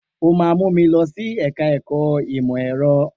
O máa mú mi lọ sí ẹ̀ka ẹ̀kọ́ ìmọ̀ ẹ̀rọ.